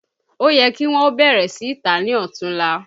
Ó yẹ kí wọn ó bẹ̀rẹ̀ sì í tà á ní Ọ̀tunla